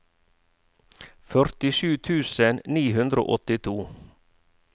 førtisju tusen ni hundre og åttito